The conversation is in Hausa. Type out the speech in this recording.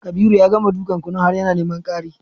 Kabiru ya gama dukan kunun har yana neman ƙari